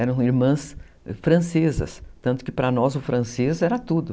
Eram irmãs francesas, tanto que para nós o francês era tudo.